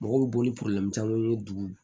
Mɔgɔw bɛ boli camanw ye dugu